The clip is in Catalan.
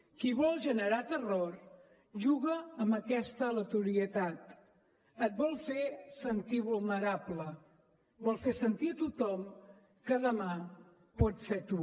qui vol generar terror juga amb aquesta aleatorietat et vol fer sentir vulnerable vol fer sentir a tothom que demà pots ser tu